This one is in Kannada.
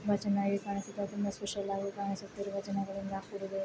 ತುಂಬಾ ಚೆನ್ನಾಗಿ ಕಾಣಿಸುತ್ತಿದೆ ತುಂಬಾ ಸ್ಪೆಷಲ್ ಆಗಿ ಕಾಣಿಸುತ್ತಿರುವ ಜನಗಳಿಂದ ಕೂಡಿದೆ.